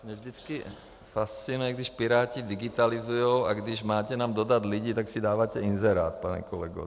Mě vždycky fascinuje, když Piráti digitalizují, a když máte nám dodat lidi, tak si dáváte inzerát, pane kolego.